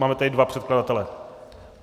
Máme tady dva předkladatele.